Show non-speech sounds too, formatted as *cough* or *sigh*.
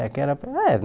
É que era para *unintelligible*